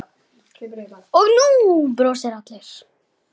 Og nú brosa allir.